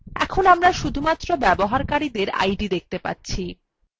এখন আমরা শুধুমাত্র ব্যবহারকারীডের id দেখতে পাচ্ছি